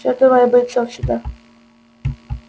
всё давай бойцов сюда